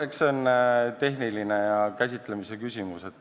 Eks see ole tehniline ja käsitlemise küsimus.